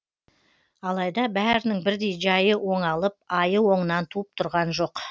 алайда бәрінің бірдей жайы оңалып айы оңынан туып тұрған жоқ